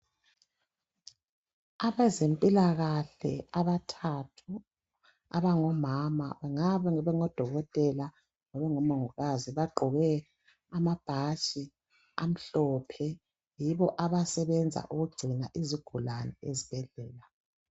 Abezempilakahle abathathu abangomama kunga bengodokotela kumbe omongikazi abagqoke amabhatshi amhlophe .Yibo abasebenza ukugcina izigulane ezibhedlela.